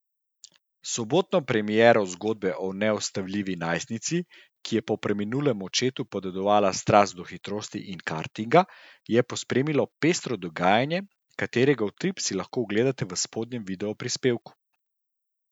Sobotno premiero zgodbe o neustavljivi najstnici, ki je po preminulemu očetu podedovala strast do hitrosti in kartinga, je pospremilo pestro dogajanje, katerega utrip si lahko ogledate v spodnjem videoprispevku.